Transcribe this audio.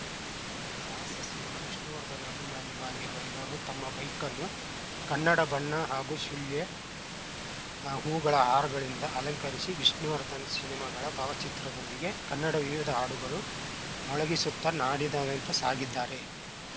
ಸಾಹಸ ಸಿಂಹ ವಿಷ್ಣುವರ್ಧನ ಅಭಿಮಾನಿಯೂ ಆಗಿರುವ ಇವರು ತಮ್ಮ ಬೈಕ್‌ನ್ನು ಕನ್ನಡ ಬಣ್ಣ ಹಾಗೂಶು ಲ್ಯ ಹೂವುಗಳ ಹಾರಗಳಿಂದ ಅಲಂಕರಿಸಿ ವಿಷ್ಣುವರ್ಧನ ಸಿನಿಮಾಗಳ ಭಾವಚಿತ್ರದೊಂದಿಗೆ ಕನ್ನಡ ವಿವಿಧ ಹಾಡುಗಳ ಮೊಳಗಿಸುತ್ತಾ ನಾಡಿನಾದ್ಯಂತ ಸಾಗಿದ್ದಾರೆ